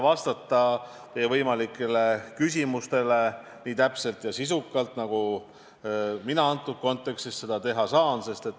Ma püüan teile vastata nii täpselt ja sisukalt, nagu ma selles kontekstis teha saan.